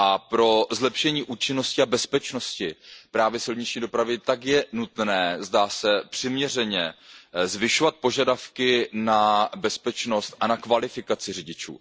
Pro zlepšení účinnosti a bezpečnosti silniční dopravy je nutné, zdá se, přiměřeně zvyšovat požadavky na bezpečnost a na kvalifikaci řidičů.